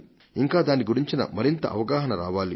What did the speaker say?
ఇంకా దాని గురించిన మరింత అవగాహన రావాలి